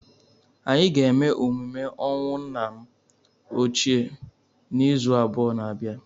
Anyị ga-eme emume ọnwụ nna m ochie n'izu abụọ na abia.